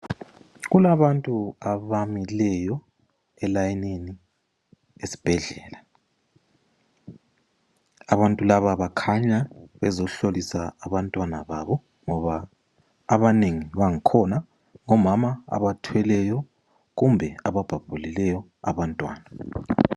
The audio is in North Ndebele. Kulabantu abamileyo elayinini esibhedlela, abantu laba bakhanya bezohlolisa abantwana babo ngoba abanengi bankhona omama abathweleyo kumbe ababhabhulileyo abantwana.